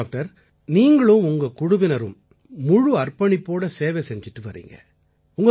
சரி டாக்டர் நீங்களும் உங்க குழுவினரும் முழு அர்ப்பணிப்போட சேவை செஞ்சிட்டு வர்றீங்க